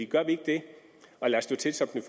gør vi ikke det og lader stå til som den